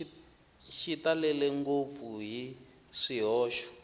xi talele ngopfu hi swihoxo